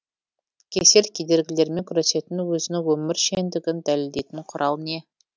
кесел кедергілерімен күресетін өзінің өмір шеңдігін дәлелдейтін құрал не